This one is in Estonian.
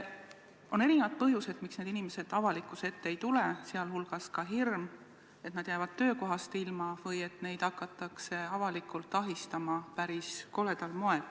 On erinevad põhjused, miks need inimesed avalikkuse ette ei tule, sh hirm, et nad jäävad töökohast ilma või et neid hakatakse avalikult ahistama päris koledal moel.